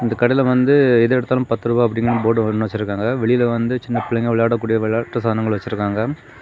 அந்த கடைல வந்து எது எடுத்தாலும் பத்துருவா அப்டினு போர்டு ஒன்னு வெச்சிருக்காங்க வெளில வந்து சின்ன புள்ளைங்க விளையாட கூடிய விளையாட்டு சாதனங்கள் வெச்சிருக்காங்க.